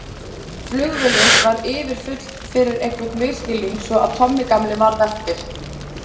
Flugvélin var yfirfull fyrir einhvern misskilning svo að Tommi gamli varð eftir.